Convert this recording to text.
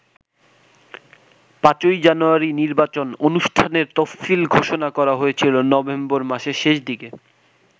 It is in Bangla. ৫ই জানুয়ারি নির্বাচন অনুষ্ঠানের তফসিল ঘোষণা করা হয়েছিল নভেম্বর মাসের শেষ দিকে।